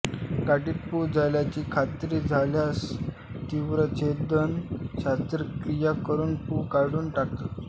गाठीत पू झाल्याची खात्री झाल्यासच तीवर छेदन शस्त्रक्रिया करून पू काढून टाकतात